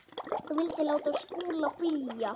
Þú vildir láta Skúla flýja.